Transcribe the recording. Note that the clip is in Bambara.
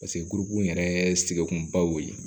gurugun yɛrɛ sekun ba ye